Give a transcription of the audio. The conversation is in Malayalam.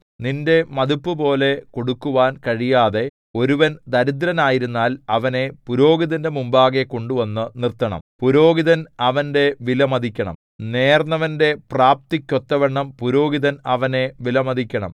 നിന്റെ മതിപ്പുപോലെ കൊടുക്കുവാൻ കഴിയാതെ ഒരുവൻ ദരിദ്രനായിരുന്നാൽ അവനെ പുരോഹിതന്റെ മുമ്പാകെ കൊണ്ടുവന്നു നിർത്തണം പുരോഹിതൻ അവന്റെ വിലമതിക്കണം നേർന്നവന്റെ പ്രാപ്തിക്കൊത്തവണ്ണം പുരോഹിതൻ അവനെ വിലമതിക്കണം